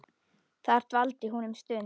Þar dvaldi hún um stund.